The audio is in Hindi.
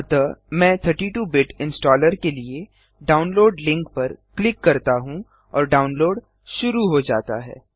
अतः मैं 32 बिट इंस्टॉलर के लिए डाउनलोड लिंक पर क्लिक करता हूँ और डाउनलोड शुरू हो जाता है